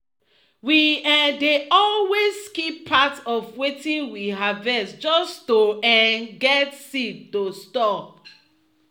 we um dey always keep part of wetin we harvest just to um get seed to store.